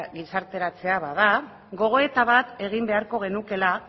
gizarteratzea bada gogoeta bat egin beharko genuela